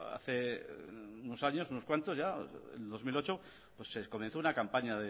hace unos años unos cuantos en dos mil ocho se comenzó una campaña